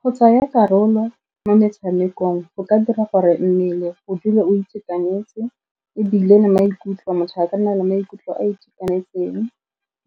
Go tsaya karolo mo metshamekong go ka dira gore mmele go dule o itekanetse, ebile le maikutlo, motho a ka nna le maikutlo a itekanetseng,